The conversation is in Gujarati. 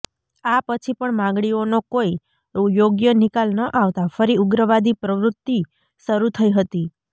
આ પછી પણ માગણીઓનો કોઇ યોગ્ય નિકાલ ન આવતા ફરી ઉગ્રવાદી પ્રવૃત્તિ શરૂ થઇ હતી